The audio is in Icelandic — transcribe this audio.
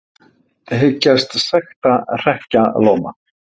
Hyggjast sekta hrekkjalóma